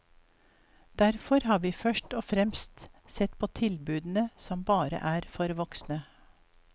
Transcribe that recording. Derfor har vi først og fremst sett på tilbudene som bare er for voksne.